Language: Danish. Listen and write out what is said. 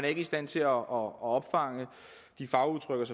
ikke i stand til at opfange de fagudtryk